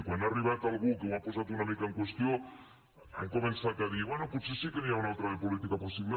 quan ha arribat algú que ho ha posat una mica en qüestió han començat a dir bé potser sí que n’hi ha una altra de política possible